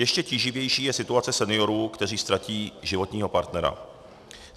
Ještě tíživější je situace seniorů, kteří ztratí životního partnera.